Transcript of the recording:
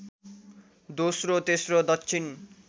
दोस्रो तेस्रो दक्षिण